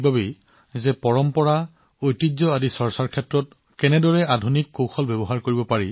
মই এই মহান পদক্ষেপৰ কথা উল্লেখ কৰিছো যাতে মানুহে জানিব পাৰে যে আমাৰ পৰম্পৰাৰ বিভিন্ন দিশবোৰ আধুনিক ধৰণে কেনেদৰে উপস্থাপন কৰা হৈছে